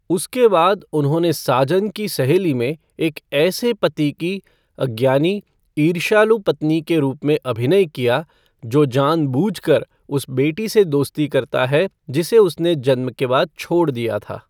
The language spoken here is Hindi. उसके बाद, उन्होंने साजन की सहेली में एक ऐसे पति की अज्ञानी, ईर्ष्यालु पत्नी के रूप में अभिनय किया, जो जानबूझकर उस बेटी से दोस्ती करता है जिसे उसने जन्म के बाद छोड़ दिया था।